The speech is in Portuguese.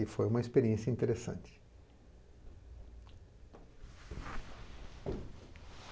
E foi uma experiência interessante.